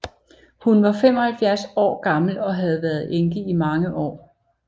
Hun var da 75 år gammel og havde været enke i mange år